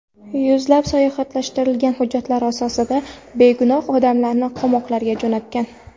Yuzlab soxtalashtirilgan hujjatlar asosida begunoh odamlarni qamoqlarga jo‘natgan.